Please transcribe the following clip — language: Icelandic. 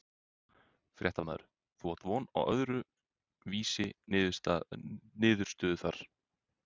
Fréttamaður: Þú átt von á öðru vísi niðurstöðu þar?